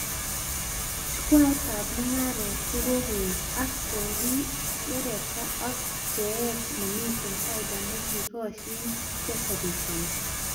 Chukwaitab mugaret kokokoet ak kokiwereta ak bcheet nemite faida nekikoshin chechobishoni